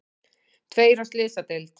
Tveir á slysadeild